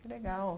Que legal.